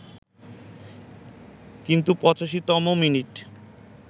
কিন্তু ৮৫তম মিনিটে